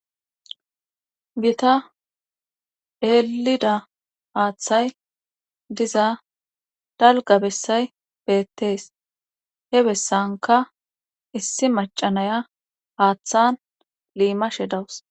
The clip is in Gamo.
Gita eelida haaththay diza dalga bessay beettees he bessanka issi macanaya haaththan liimashe dawus.